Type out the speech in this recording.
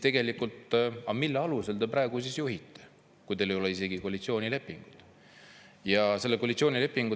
Mille alusel te praegu juhite, kui teil ei ole isegi koalitsioonilepingut?